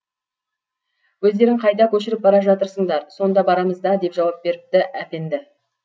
өздерің қайда көшіріп бара жатырсыңдар сонда барамыз да деп жауап беріпті әпенді